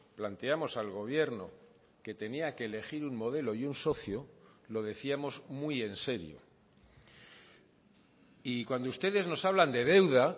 planteamos al gobierno que tenía que elegir un modelo y un socio lo decíamos muy en serio y cuando ustedes nos hablan de deuda